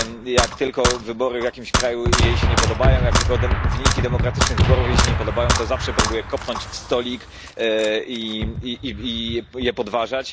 Jak tylko wybory w jakimś kraju jej się nie podobają, jak tylko wyniki demokratycznych wyborów jej się nie podobają, to zawsze próbuje kopnąć w stolik i je podważać.